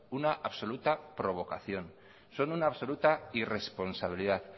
una absoluta provocación son una absoluta irresponsabilidad